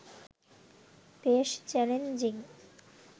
বেশ চ্যালেঞ্জিং